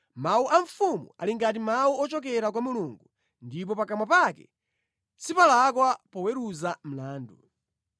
Mawu a mfumu ali ngati mawu ochokera kwa Mulungu; ndipo pakamwa pake sipalakwa poweruza mlandu.